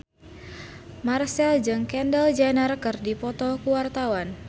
Marchell jeung Kendall Jenner keur dipoto ku wartawan